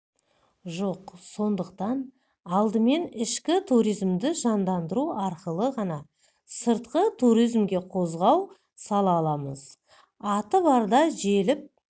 жоқ сондықтан алдымен ішкі туризмді жандандыру арқылы ғана сыртқы туризмге қозғау сала аламыз аты барда желіп